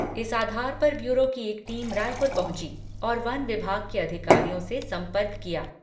इस आधार पर ब्यूरो की एक टीम रायपुर पहुंची और वन विभाग के अधिकारियों से संपर्क किया।